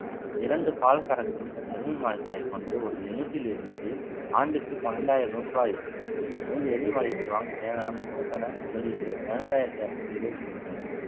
இரண்டு பால் கறக்கும் எருமை மாடுகளை கொண்டு ஒரு unit டிலிருந்து ஆண்டுக்கு பன்னிரண்டாயிரம் ரூபாய் இரண்டு எருமை மாடுகளை வாங்க தேவையான மூலதன முதலீடு பதினெட்டாயிரத்தி இருநூத்தி இருபத்தி மூணு